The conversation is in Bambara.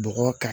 Bɔgɔ ka